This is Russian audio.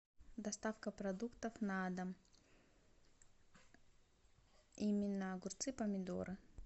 доставка продуктов на дом именно огурцы помидоры